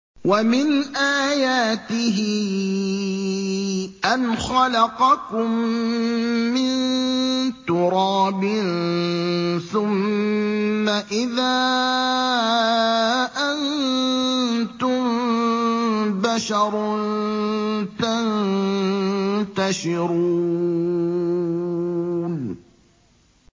وَمِنْ آيَاتِهِ أَنْ خَلَقَكُم مِّن تُرَابٍ ثُمَّ إِذَا أَنتُم بَشَرٌ تَنتَشِرُونَ